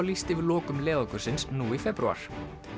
lýst yfir lokum leiðangursins nú í febrúar